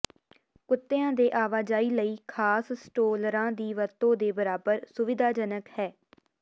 ਕੁੱਤਿਆਂ ਦੇ ਆਵਾਜਾਈ ਲਈ ਖਾਸ ਸਟਰੋਲਰਾਂ ਦੀ ਵਰਤੋਂ ਦੇ ਬਰਾਬਰ ਸੁਵਿਧਾਜਨਕ ਹੈ